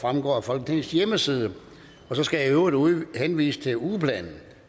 fremgår af folketingets hjemmeside og så skal jeg i øvrigt henvise til ugeplanen